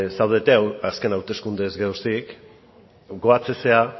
zaudete azken hauteskundeez geroztik gogoratzen zara